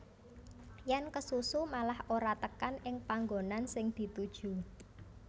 Yèn kesusu malah ora tekan ing panggonan sing dituju